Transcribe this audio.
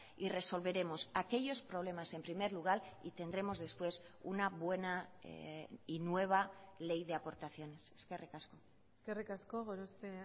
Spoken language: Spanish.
y resolveremos aquellos problemas en primer lugar y tendremos después una buena y nueva ley de aportaciones eskerrik asko eskerrik asko gorospe